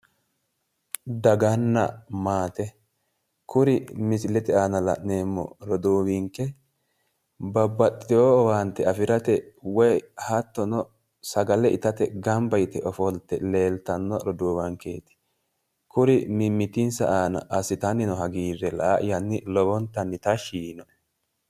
Daganna maate. Kuri misilete aana la'neemmo roduuwinke babbaxxitiwo owaante afirate woyi hattono sagale itate gamba yite ofolte leeltanno roduuwankeeti. Kuri mimmitinsa aana assitanni noo hagiirre la"ayanni lowontanni tashshi yiinoe.